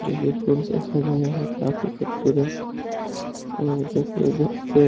जोकि फुल से सजाया है काफ़ी खूबसूरत और जोकी पे --